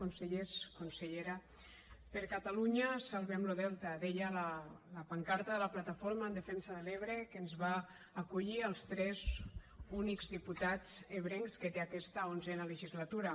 consellers consellera per catalunya salvem lo delta deia la pancarta de la plataforma en defensa de l’ebre que ens va acollir als tres únics diputats ebrencs que té aquesta onzena legislatura